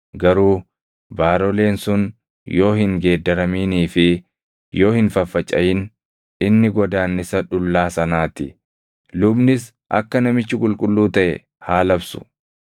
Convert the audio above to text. Garuu baaroleen sun yoo hin geeddaraminii fi yoo hin faffacaʼin, inni godaannisa dhullaa sanaa ti; lubnis akka namichi qulqulluu taʼe haa labsu.